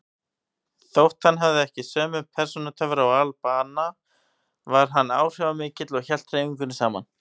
Þótt hann hefði ekki sömu persónutöfra og al-Banna var hann áhrifamikill og hélt hreyfingunni saman.